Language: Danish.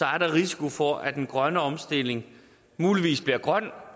er der risiko for at den grønne omstilling muligvis bliver grøn